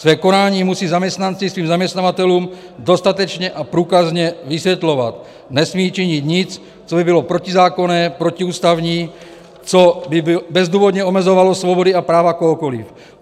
Své konání musí zaměstnanci svým zaměstnavatelům dostatečně a průkazně vysvětlovat, nesmí činit nic, co by bylo protizákonné, protiústavní, co by bezdůvodně omezovalo svobody a práva kohokoliv.